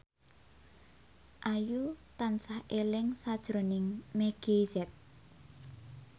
Ayu tansah eling sakjroning Meggie Z